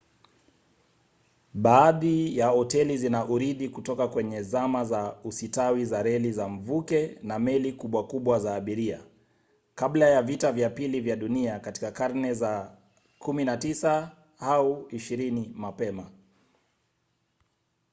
baadhi ya hoteli zina urithi kutoka kwenye zama za usitawi za reli za mvuke na meli kubwa kubwa za abiria; kabla ya vita vya pili vya dunia katika karne za 19 au 20 mapema